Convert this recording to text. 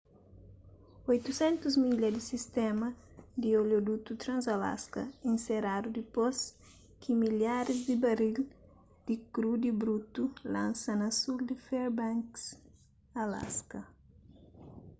800 milha di sistéma di oliodutu trans-alaska inseradu dipôs ki milharis di baril di krudi brutu lansa na sul di fairbanks alaska